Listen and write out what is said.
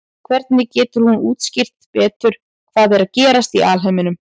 hvernig getur hún útskýrt betur hvað er að gerast í alheiminum